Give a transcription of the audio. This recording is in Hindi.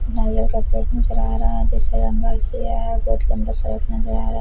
एल लम्बा शर्ट नजर आ रहा है।